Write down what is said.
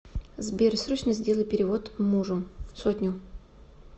сбер срочно сделай перевод мужу сотню